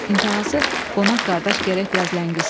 İntihası, qonaq qardaş gərək biraz ləngisin.